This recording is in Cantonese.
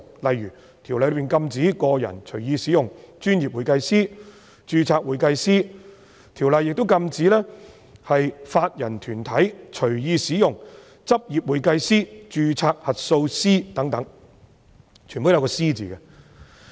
例如，《條例》禁止個人隨意使用"專業會計師"及"註冊會計師"，亦禁止法人團體隨意使用"執業會計師"、"註冊核數師"等。